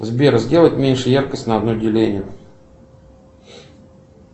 сбер сделать меньше яркость на одно деление